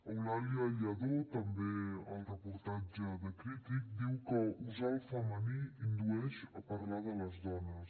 eulàlia lledó també al reportatge de crític diu que usar el femení indueix a parlar de les dones